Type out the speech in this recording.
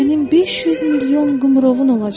Sənin 500 milyon qımrovun olacaq.